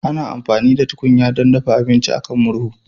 Ana amfani da tukunya don dafa abinci a kan murhu